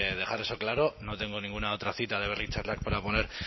dejar eso claro no tengo ninguna otra cita de berri txarrak para poner